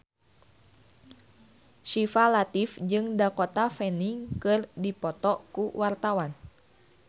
Syifa Latief jeung Dakota Fanning keur dipoto ku wartawan